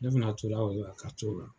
Ne fana to la o de la, ka t'o la.